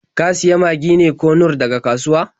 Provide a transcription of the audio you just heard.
Ka sayi Magi ne ko Nor daga kasuwa?